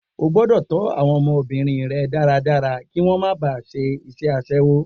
O gbọ́dọ̀ tó àwọn ọmọbìnrin rẹ dáradára kí wọn máa ba ṣe iṣẹ́ asẹ́wó